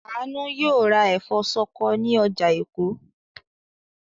Àánú yóò ra ẹ̀fọ́ ṣọkọ ní ọjà Èkó.